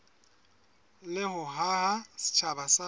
le ho haha setjhaba sa